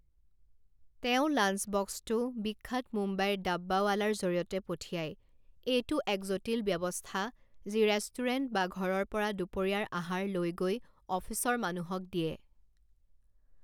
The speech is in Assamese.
তেওঁ লাঞ্চবক্সটো বিখ্যাত মুম্বাইৰ ডাব্বাৱালাৰ জৰিয়তে পঠিয়ায়, এইটো এক জটিল ব্যৱস্থা যি ৰেষ্টুৰেণ্ট বা ঘৰৰ পৰা দুপৰীয়াৰ আহাৰ লৈ গৈ অফিচৰ মানুহক দিয়ে।